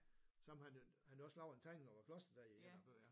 Som han jo han har også lavet et tegning og klosteret der i en af bøgerne